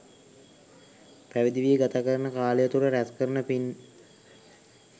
පැවිදි වී ගත කරන කාලය තුළ රැස් කරන පින්